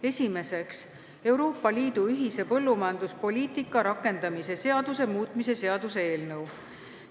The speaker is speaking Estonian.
Esiteks, Euroopa Liidu ühise põllumajanduspoliitika rakendamise seaduse muutmise seaduse eelnõu.